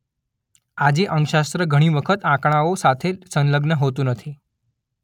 આજે અંકશાસ્ત્ર ઘણી વખત આંકડાઓ સાથે સંલગ્ન હોતું નથી